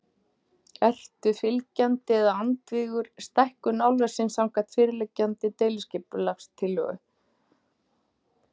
Ertu fylgjandi eða andvígur stækkun álversins samkvæmt fyrirliggjandi deiliskipulagstillögu?